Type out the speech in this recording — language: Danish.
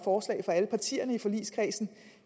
forslag fra alle partierne i forligskredsen